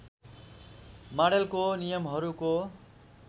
माडेलको नियमहरूको